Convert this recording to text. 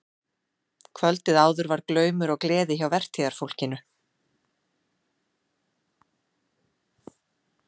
Kvöldið áður var glaumur og gleði hjá vertíðarfólkinu.